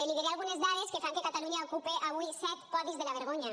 li diré algunes dades que fan que catalunya ocupe avui set podis de la vergonya